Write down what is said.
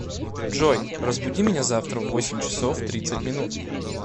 джой разбуди меня завтра в восемь часов тридцать минут